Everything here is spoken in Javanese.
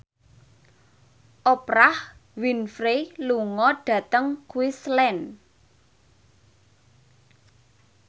Oprah Winfrey lunga dhateng Queensland